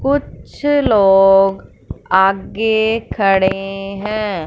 कुछ लोग आगे खड़े हैं।